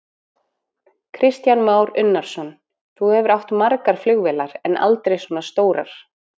Kristján Már Unnarsson: Þú hefur átt margar flugvélar, en aldrei svona stórar?